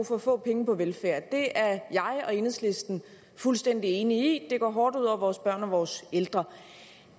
for få penge på velfærd det er jeg og enhedslisten fuldstændig enig i det går hårdt ud over vores børn og vores ældre